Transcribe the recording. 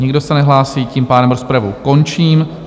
Nikdo se nehlásí, tím pádem rozpravu končím.